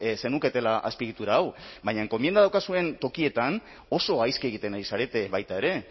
zenuketela azpiegitura hau baina enkomienda daukazuen tokietan oso gaizki egiten ari zarete baita ere